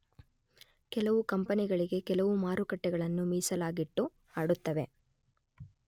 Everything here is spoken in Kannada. ಕೆಲವು ಕಂಪೆನಿಗಳಿಗೆ ಕೆಲವು ಮಾರುಕಟ್ಟೆಗಳನ್ನು ಮೀಸಲಾಗಿಟ್ಟು ಆಡುತ್ತವೆ